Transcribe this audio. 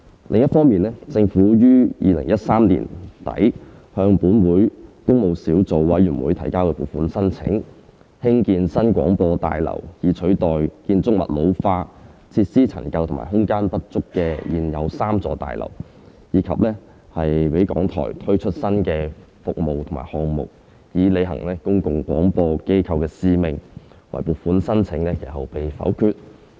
另一方面，政府於2013年底向本會工務小組委員會提交撥款申請，興建新廣播大樓以取代建築物老化、設施陳舊及空間不足的現有3座大樓，以及讓港台推出新的服務和項目，以履行公共廣播機構的使命，惟撥款申請其後被否決。